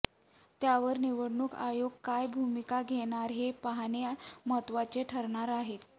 त्यावर निवडणूक आयोग काय भूमिका घेणार हे पाहणे महत्वाचे ठरणार आहे